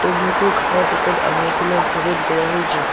মূৰটোৰ কাষত এখন আধাৰশিলা স্থাপন কৰা হৈছে।